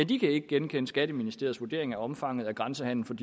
de ikke genkende skatteministeriets vurdering af omfanget af grænsehandelen